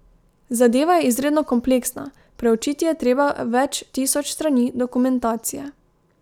Zadeva je izredno kompleksna, preučiti je treba več tisoč strani dokumentacije.